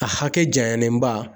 A hakɛ jayalenba